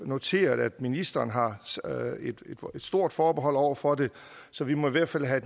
noteret at ministeren har et stort forbehold over for det så vi må i hvert fald have